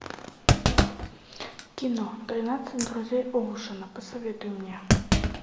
кино тринадцать друзей оушена посоветуй мне